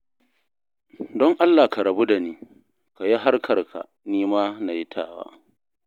Don Allah ka rabu da ni, ka yi harkarka, ni ma na yi tawa